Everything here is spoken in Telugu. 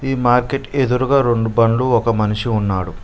ఈ మార్కెట్ కి ఎదురుగా రొండు బండ్లు ఒక మనిషి ఉన్నాడు.